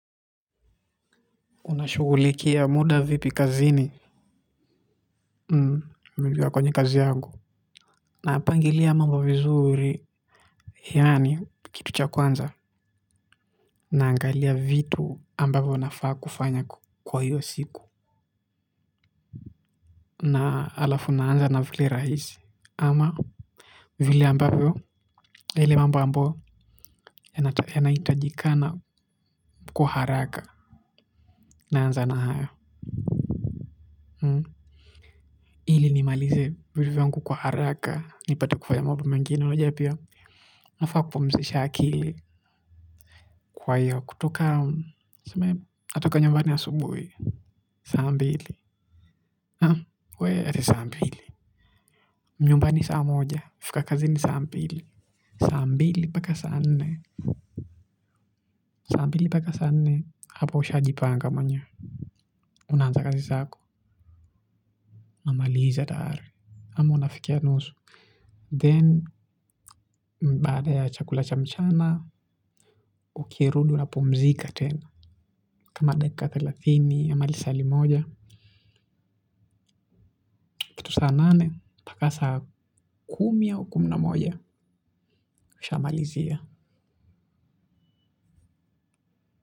Unashugulikia muda vipi kazini mbiliwa kwenye kazi yangu. Napangilia mambo vizuri yani kitu cha kwanza. Naangalia vitu ambavyo nafaa kufanya kwa hiyo siku. Na alafu naanza na vile rahisi ama vile ambavyo ele mamo ambao ya naitajikana kwa haraka naanza na haya. Hili ni malize vitu vyangu kwa haraka ni pate kufanya mba mingine. Najua pia, nafaa kupumzisha akili kwa hiyo, kutoka, natoka nyumbani asubuhi. Saa mbili. Nyumbani saa moja, fika kazi ni saa mbili. Saa mbili paka saa nne. Saa mbili paka saa nne, hapo usha jipanga mwenyewe. Unaanza kazi sako, namaliza tayari. Ama unafikia nusu. Then, baada ya chakula cha mchana, ukirundu napumzika tena. Kama dakika thalathini amalisali moja. Tu saa nane paka sa kumi au kumi na moja Sha malizia.